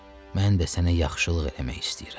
Mən də sənə yaxşılıq eləmək istəyirəm.